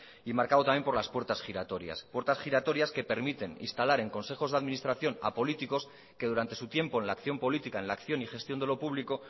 y marcado también por las puertas giratorias puertas giratorias que permiten instalar en consejos de administración a políticos que durante su tiempo en la acción política en la acción y gestión de lo público